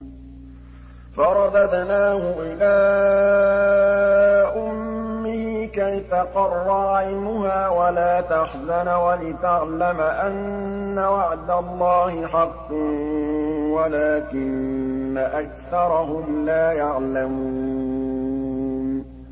فَرَدَدْنَاهُ إِلَىٰ أُمِّهِ كَيْ تَقَرَّ عَيْنُهَا وَلَا تَحْزَنَ وَلِتَعْلَمَ أَنَّ وَعْدَ اللَّهِ حَقٌّ وَلَٰكِنَّ أَكْثَرَهُمْ لَا يَعْلَمُونَ